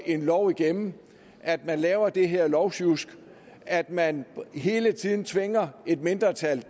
en lov igennem at man laver det her lovsjusk at man hele tiden tvinger et mindretal